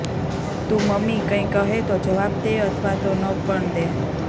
તું મમ્મી કંઈ કહે તો જવાબ દે અથવા તો ન પણ દે